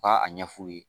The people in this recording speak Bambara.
U ka a ɲɛfu ye